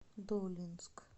долинск